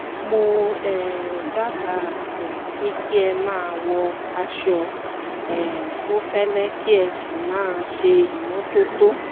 mo um dábàá um pé kí ẹ máa wọ aṣọ um tó fẹ́lẹ́ kí ẹ sì máa ṣe ìmọ́tótó